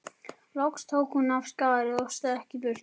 Loks tók hún af skarið og stökk í burtu.